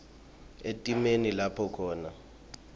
etimeni lapho khona